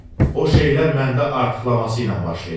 O şeylər məndə artıqlaması ilə baş verir.